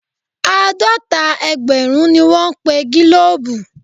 Àádọ́ta ẹgbẹ̀rún ni wọ́n pe gílòòbù.